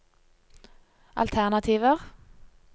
alternativer